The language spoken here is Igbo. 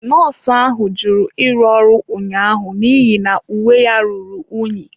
Nọọsụ ahụ jụrụ ịrụ ọrụ ụnyaahụ n'ihi na uwe ya ruru unyi.